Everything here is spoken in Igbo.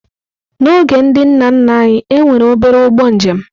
N'oge ndị nna nna anyị, e nwere obere ụgbọ njem.